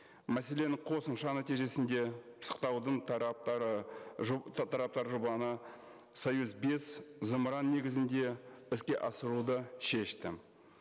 мәселен қосымша нәтижесінде пысықтаудың тараптары тараптар жобаны союз бес зымыран негізінде іске асыруды шешті